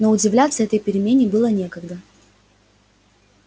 но удивляться этой перемене было некогда